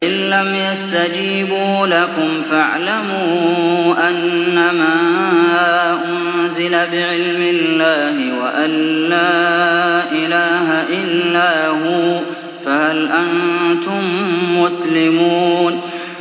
فَإِلَّمْ يَسْتَجِيبُوا لَكُمْ فَاعْلَمُوا أَنَّمَا أُنزِلَ بِعِلْمِ اللَّهِ وَأَن لَّا إِلَٰهَ إِلَّا هُوَ ۖ فَهَلْ أَنتُم مُّسْلِمُونَ